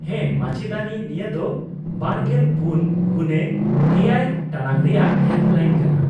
-ᱦᱮᱸ, ᱢᱟᱪᱮᱫᱟᱹᱱᱤ, ᱱᱤᱭᱟᱹ ᱫᱚ ᱒᱔x᱗ ᱴᱟᱲᱟᱝ ᱨᱮᱭᱟᱜ ᱦᱮᱞᱯᱞᱟᱭᱤᱱ ᱠᱟᱱᱟ ᱾